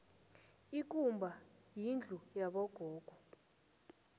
ikumba yindlu yabo gogo